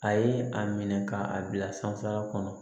A ye a minɛ ka a bila sanfɛla kɔnɔ